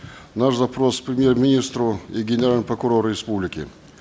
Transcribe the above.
наш запрос премьер министру и генеральному прокурору республики